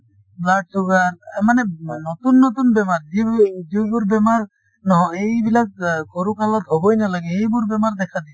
blood sugar মানে নতুন নতুন বেমাৰ যোনবোৰ বেমাৰ নহ এইবোৰ সৰুকালত হবই নালাগে সেইবোৰ বেমাৰ দেখা দিছে।